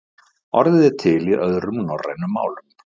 Orðið er til í öðrum norrænum málum.